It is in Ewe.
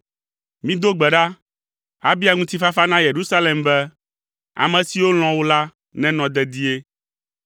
Mido gbe ɖa, abia ŋutifafa na Yerusalem be, “Ame siwo lɔ̃ wò la nenɔ dedie.